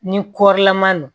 Ni kɔrilama don